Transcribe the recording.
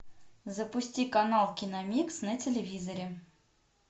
запусти канал киномикс на телевизоре